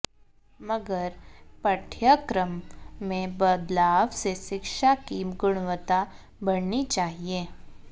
मगर पाठ्यक्रम में बदलाव से शिक्षा की गुणवत्ता बढऩी चाहिए